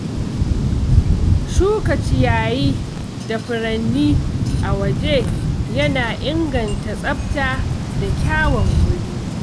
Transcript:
Shuka ciyayi da furanni a waje yana inganta tsafta da kyawun wurin.